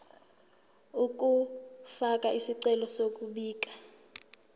ukufaka isicelo sokubika